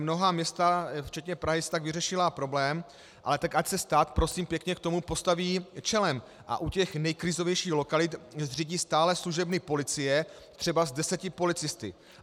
Mnohá místa včetně Prahy si tak vyřešila problém, ale tak ať se stát, prosím pěkně, k tomu postaví čelem a u těch nejkrizovějších lokalit zřídí stálé služebny policie, třeba s deseti policisty.